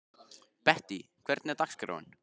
Bettý, hvernig er dagskráin?